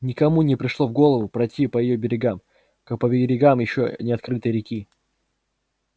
никому не пришло в голову пройти по её берегам как по берегам ещё не открытой реки